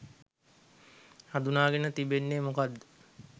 හඳුනාගෙන තිබෙන්නේ මොකක්ද?